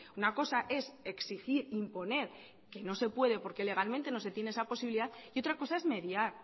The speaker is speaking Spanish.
una cosa es exigir imponer que no se puede porque legalmente no se tiene esa posibilidad y otra cosa es mediar